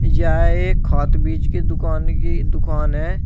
यह एक खाद बीज की दुकान की दुकान है।